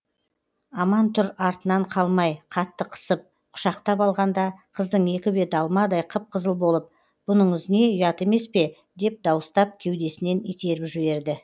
аман тұр артынан қалмай қатты қысып құшақтап алғанда қыздың екі беті алмадай қып қызыл болып бұныңыз не ұят емес пе деп дауыстап кеудесінен итеріп жіберді